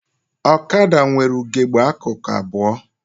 Ọkada nwere ugegbe akụkụ abụọ